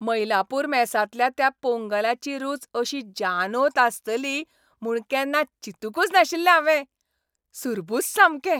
मईलापूर मेसांतल्या त्या पोंगलाची रूच अशी जानोत आसतली म्हूण केन्ना चिंतूंकच नाशिल्लें हांवें. सुरबूस सामकें!